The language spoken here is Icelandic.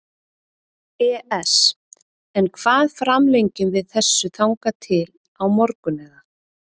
ES En hvað framlengjum við þessu þangað til á morgun eða?